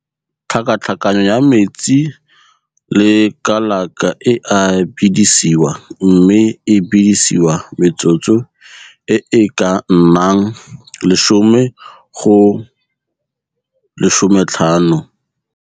Tlhakatlhakanyo ya metsi le kalaka e a bedisiwa mme e bedisiwa metsotso e e ka nnang 10 go 15.